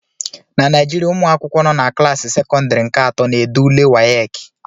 na Naijiria, ụmụ akwụkwọ nọ na klaasị sekọndịrị nke atọ na-ede ule WAEKI